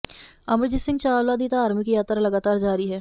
ਅਮਰਜੀਤ ਸਿੰਘ ਚਾਵਲਾ ਦੀ ਧਾਰਮਿਕ ਯਾਤਰਾ ਲਗਾਤਾਰ ਜਾਰੀ ਹੈ